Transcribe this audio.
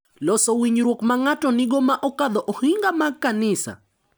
Loso winjruok ma ng’ato nigo ma okadho ohinga mag kanisa.